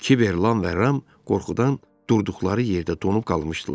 Kiber, Lam və Ram qorxudan durduqları yerdə donub qalmışdılar.